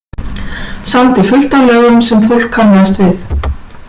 Samdi fullt af lögum sem fólk kannast við.